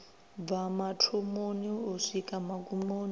bva mathomoni u swika magumoni